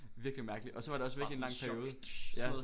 Virkelig mærkelig og så var det også væk i en lang periode ja